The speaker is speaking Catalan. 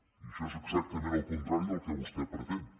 i això és exactament el contrari del que vostè pretén